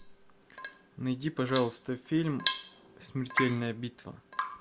найди пожалуйста фильм смертельная битва